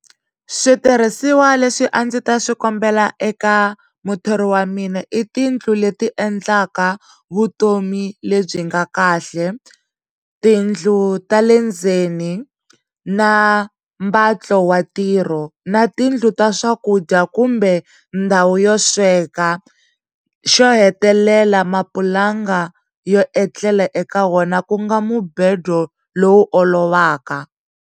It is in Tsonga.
Switirhisiwa leswi a ndzi ta swi kombela eka muthori wa mina i tiyindlu leti endlaka vutomi lebyi nga kahle tiyindlu ta le ndzeni na mbatlo wa ntirho na tiyindlu ta swakudya kumbe ndhawu yo sweka xo hetelela mapulanga yo etlela eka wena ku nga mubhedo lowu olovaka.